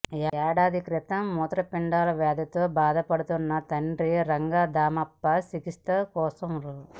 ఏడాది క్రితం మూత్రపిండాల వ్యాధితో బాధ పడుతున్న తండ్రి రంగధామప్ప చికిత్సల కోసం రూ